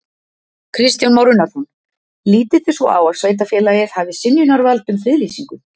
Kristján Már Unnarsson: Lítið þið svo á að sveitarfélagið hafi synjunarvald um friðlýsingu?